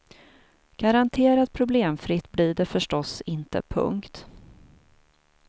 Garanterat problemfritt blir det förstås inte. punkt